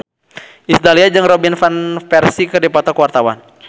Iis Dahlia jeung Robin Van Persie keur dipoto ku wartawan